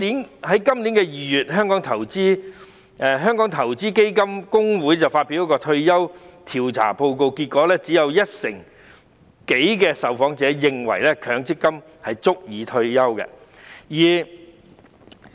然而，在今年2月，香港投資基金公會發表一份退休調查報告，結果顯示只有一成多的受訪者認為強積金足以支持退休生活。